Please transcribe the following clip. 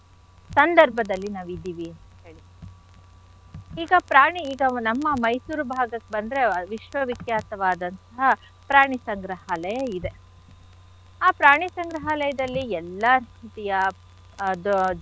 ಸಂದರ್ಭದಲ್ಲಿ ನಾವಿದಿವಿ ಅಂತ್ ಹೇಳಿ. ಈಗ ಪ್ರಾಣಿ ಈಗ ನಮ್ಮ Mysore ಭಾಗಕ್ ಬಂದ್ರೆ ವಿಶ್ವ ವಿಖ್ಯಾತವಾದಂಥಹ ಪ್ರಾಣಿ ಸಂಗ್ರಹಾಲಯ ಇದೆ. ಆ ಪ್ರಾಣಿ ಸಂಗ್ರಹಾಲಯದಲ್ಲಿ ಎಲ್ಲಾ ರೀತಿಯ ಅದು.